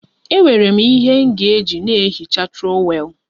Enwere m ihe m ga-eji na-ehicha trọwel